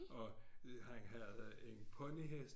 Og han havde en ponyhest